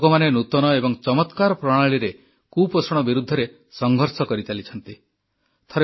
ଲୋକମାନେ ନୂତନ ଏବଂ ଚମତ୍କାର ପ୍ରଣାଳୀରେ କୁପୋଷଣ ବିରୁଦ୍ଧରେ ସଂଘର୍ଷ କରିଚାଲିଛନ୍ତି